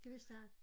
Skal vi starte?